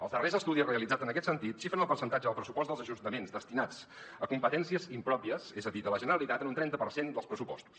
els darrers estudis realitzats en aquest sentit xifren el percentatge del pressupost dels ajustaments destinat a competències impròpies és a dir de la generalitat en un trenta per cent dels pressupostos